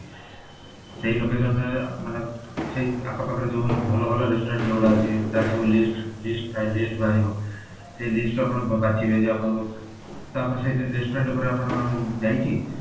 ସେଇ location ରେ ମାନେ ସେଇ ଆଖ ପାଖ ରେ ଯୋଉ ଭଲ ଭଲ restaurant ଯୋଉ ଗୁଡା ଅଛି ତାର ସବୁ list list ଥାଏ list ବାହାରିବ ସେଇ list ରୁ ଆପଣ ବାଛିବେ ଯେ ଆପଣ ତାପରେ ସେଇ restaurant ଉପରେ ଆପଣ ଯାଇକି